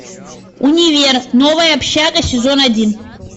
универ новая общага сезон один